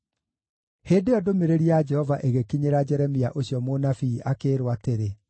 Hĩndĩ ĩyo ndũmĩrĩri ya Jehova ĩgĩkinyĩra Jeremia ũcio mũnabii, akĩĩrwo atĩrĩ,